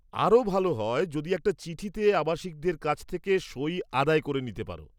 আরও ভালো হয় যদি একটা চিঠিতে আবাসিকদের কাছ থেকে সই আদায় করে আনতে পার।